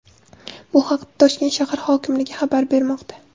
Bu haqda Toshkent shahar hokimligi xabar bermoqda .